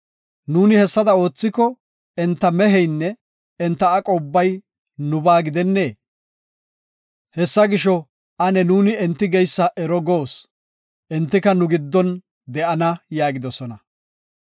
Nuuni hessada oothiko, enta meheynne, enta aqo ubbay nubaa gidennee? Hessa gisho, ane nuuni enti geysa ero goos. Entika nu giddon de7ana” yaagidosona.